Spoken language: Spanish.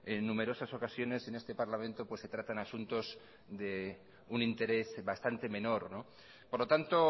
en numerosas ocasiones en este parlamento se tratan asuntos de un interés bastante menor por lo tanto